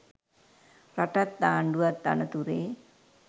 රටත් ආණ්ඩුවත් අනතුරේ.